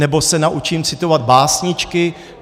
Nebo se naučím citovat básničky?